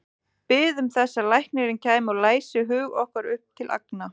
Biðum þess að læknirinn kæmi og læsi hug okkar upp til agna.